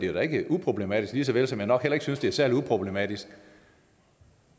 er da ikke uproblematisk lige såvel som jeg nok heller ikke synes at det er særlig uproblematisk